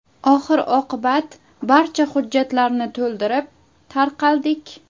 Oxir-oqibat barcha hujjatlarni to‘ldirib, tarqaldik.